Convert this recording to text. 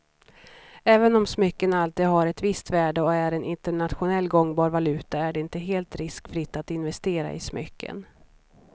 Även om smycken alltid har ett visst värde och är en internationellt gångbar valuta är det inte helt riskfritt att investera i smycken.